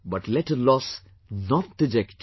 But let a loss not deject you